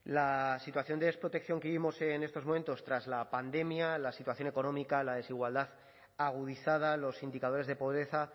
la situación de desprotección que vivimos en estos momentos tras la pandemia la situación económica la desigualdad agudizada los indicadores de pobreza